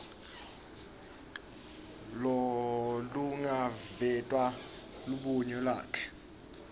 lolungaveta lubuye lwakhe